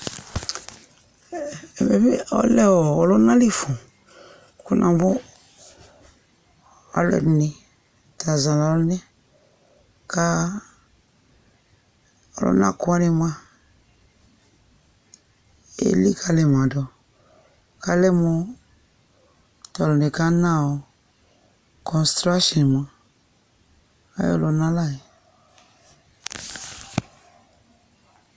Ɛmɛ ɔlɛ ɔlunali fũ Kunugo, ɔlɔdini tazanu ɩyné ka ɔluna kuwani mua élikalimadu Kalɛmu tɔluni ka nă cɔnstration ayɔluna layɛ